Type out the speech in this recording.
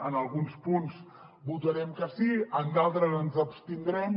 en alguns punts votarem que sí en d’altres ens abstindrem